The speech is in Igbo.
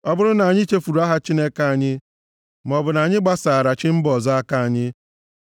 Ọ bụrụ na anyị chefuru aha Chineke anyị, maọbụ na anyị gbasaara chi mba ọzọ aka anyị,